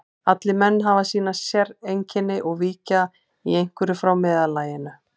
Allir menn hafa sín séreinkenni og víkja í einhverju frá meðallaginu.